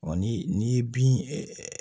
Ɔ ni n'i ye bin